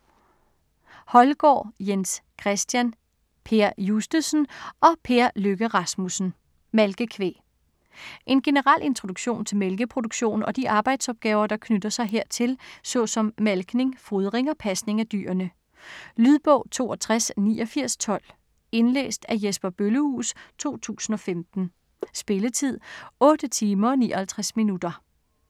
Holgaard, Jens Christian, Per Justesen og Per Lykke Rasmussen: Malkekvæg En generel introduktion til mælkeproduktion og de arbejdsopgaver, der knytter sig hertil, såsom malkning, fodring og pasning af dyrene. Lydbog 628912 Indlæst af Jesper Bøllehuus, 2015. Spilletid: 8 timer, 59 minutter.